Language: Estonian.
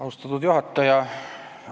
Austatud juhataja!